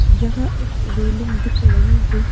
यहां एक रेलिंग दिख रही है।